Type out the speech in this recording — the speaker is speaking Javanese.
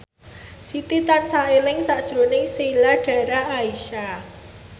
Siti tansah eling sakjroning Sheila Dara Aisha